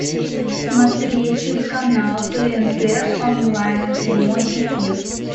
смотреть телеканал тнт онлайн прямой эфир